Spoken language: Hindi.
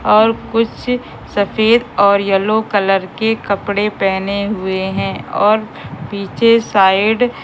और कुछ सफेद और येलो कलर के कपड़े पहने हुए हैं और पीछे साइड --